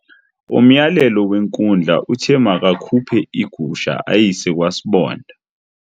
Umyalelo wenkundla uthe makakhuphe igusha ayise kwasibonda.